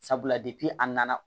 Sabula a nana